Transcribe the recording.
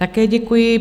Také děkuji.